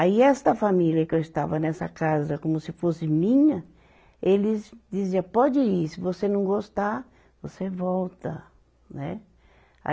Aí esta família que eu estava nessa casa como se fosse minha, eles dizia, pode ir, se você não gostar, você volta, né. Aí